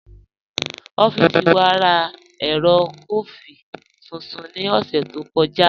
Ọffísì wà rá èrò kọfí tuntun ní ọ̀ṣẹ̀ tó kọja.